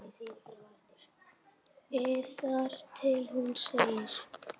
ið þar til hún segir